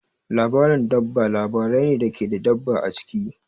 Labarin dabba labarai ne da ke da dabba a ciki.